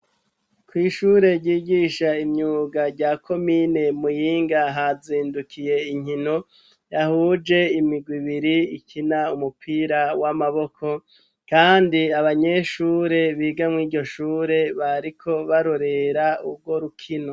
kw'ishure ryigisha imyuga rya komine muyinga hazindukiye inkino ,zahuje imigwi ibiri ikina umupira w'amaboko, kandi abanyeshure biga mw'iryo shure bariko barorera urwo rukino.